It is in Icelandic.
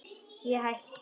Ég hætti.